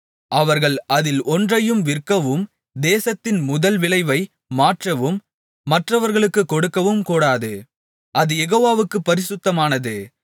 அவர்கள் அதில் ஒன்றையும் விற்கவும் தேசத்தின் முதல் விளைவை மாற்றவும் மற்றவர்களுக்குக் கொடுக்கவும் கூடாது அது யெகோவாவுக்குப் பரிசுத்தமானது